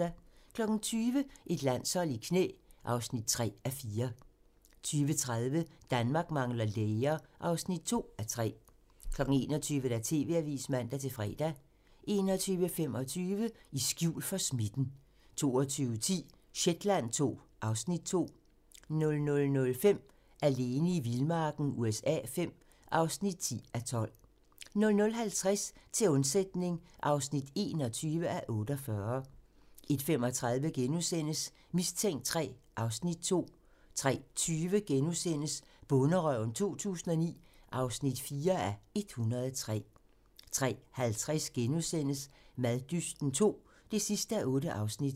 20:00: Et landshold i knæ (3:4) 20:30: Danmark mangler læger (2:3) 21:00: TV-avisen (man-fre) 21:25: I skjul for smitten 22:10: Shetland II (Afs. 2) 00:05: Alene i vildmarken USA V (10:12) 00:50: Til undsætning (21:48) 01:35: Mistænkt III (Afs. 2)* 03:20: Bonderøven 2009 (4:103)* 03:50: Maddysten II (8:8)*